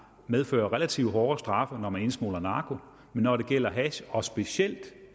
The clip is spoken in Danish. medfører relativt hårde straffe når man indsmugler narko men når det gælder hash og specielt